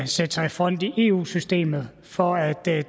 sætte sig i front i eu systemet for at det